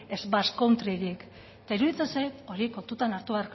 ez basque contryrik eta iruditzen zait hori